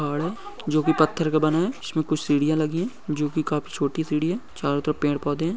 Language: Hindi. पहाड़ है जो की पत्थर का बना है उसमे कुछ सीढ़िया लगी है जो की काफ़ी छोटी सीढ़ी है चारो तरफ पेड़-पौधे है।